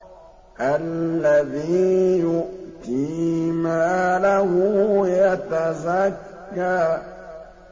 الَّذِي يُؤْتِي مَالَهُ يَتَزَكَّىٰ